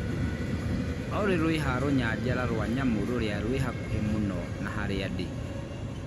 Olly rũiha rũnyanjara rwa nyamũ rũria rwĩ hakuhĩ mũno na haria ndi